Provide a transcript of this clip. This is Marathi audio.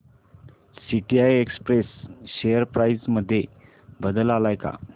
टीसीआय एक्सप्रेस शेअर प्राइस मध्ये बदल आलाय का